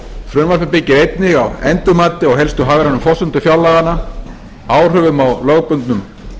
frumvarpið byggir einnig á endurmati á helstu forsendum fjárlaganna áhrifum á lögbundnum